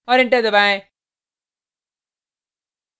और enter दबाएँ